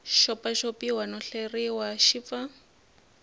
xopaxopiwa no hleriwa xi pfa